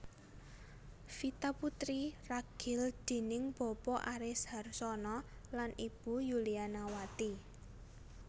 Vita putri ragil déning Bapa Aris Harsono lan Ibu Yulianawati